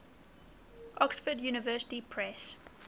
oxford university press